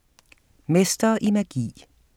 Mester i magi